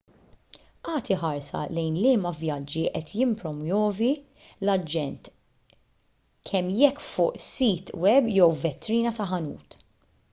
agħti ħarsa lejn liema vjaġġi qed jippromwovi l-aġent kemm jekk fuq sit web jew f'vetrina ta' ħanut